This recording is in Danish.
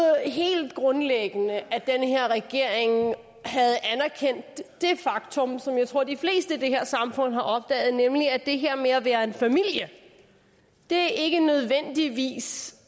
helt grundlæggende at den her regering havde anerkendt det faktum som jeg tror de fleste i det her samfund har opdaget nemlig at det her med at være en familie ikke nødvendigvis